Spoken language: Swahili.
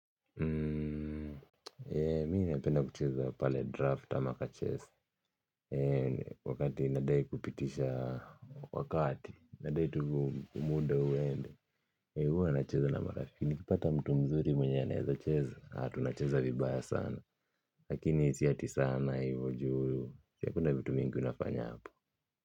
Mimi napenda kucheza pale draft ama kachess wakati nadai kupitisha wakati nadai tu muda uende huwa nacheza na marafiki nikipata mtu mzuri mwenye anaeza cheza tunacheza vibaya sana lakini si ati sana hivyo juu hakuna vitu mingi unafanya hapo.